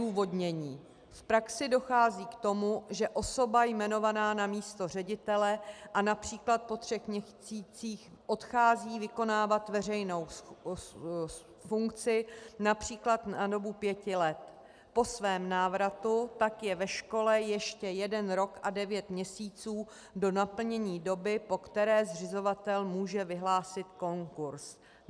Odůvodnění: V praxi dochází k tomu, že osoba jmenovaná na místo ředitele a například po třech měsících odchází vykonávat veřejnou funkci například na dobu pěti let, po svém návratu tak je ve škole ještě jeden rok a devět měsíců do naplnění doby, po které zřizovatel může vyhlásit konkurs.